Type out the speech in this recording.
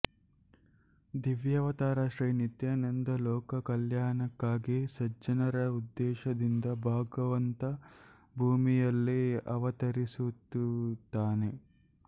ದಿವ್ಯಾವತಾರ ಶ್ರೀನಿತ್ಯನಂದ ಲೋಕ ಕಲ್ಯಾಣಕ್ಕಾಗಿ ಸಜ್ಜನರ ಉದ್ಧೇಶದಿಂದ ಭಗವಂತ ಬೂಮಿಯಲ್ಲಿ ಅವತರಿಸುತ್ತಿರುತ್ತಾನೆ